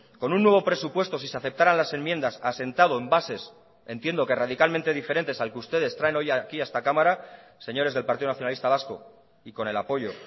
con un nuevo presupuesto si se aceptaran las enmiendas asentado en bases entiendo que radicalmente diferentes al que ustedes traen hoy aquí a esta cámara señores del partido nacionalista vasco y con el apoyo